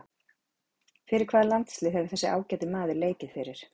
Fyrir hvaða landslið hefur þessi ágæti maður leikið fyrir?